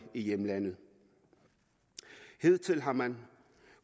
i hjemlandet hidtil har man